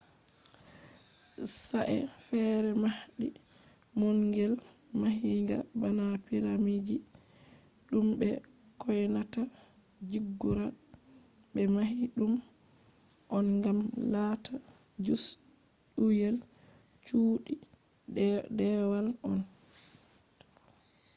sa'e feere mahdi maungel mahinga bana piramidji ɗum be kyonata ziggurats ɓe mahi ɗum on ngam lata jus'uyel cuuɗi deewal on